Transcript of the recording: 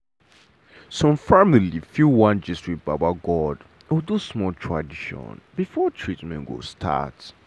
some family fit wan gist with baba god or do small tradition before treatment go start.